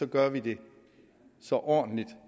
gør vi det så ordentligt